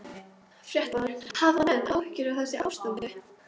Fréttamaður: Hafa menn áhyggjur af þessu ástandi?